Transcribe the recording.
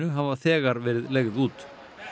hafa þegar verið leigð út